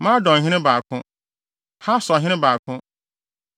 Madonhene 2 baako 1 Hasorhene 2 baako 1